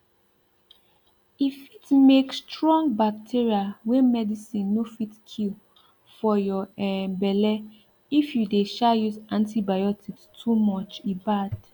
e fit make strong bacteria wey medicine no fit kill for your um belle if you dey um use antibiotics too much e bad